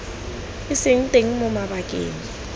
e seng teng mo mabakeng